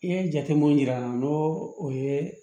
I ye jatemin jira an na n'o o ye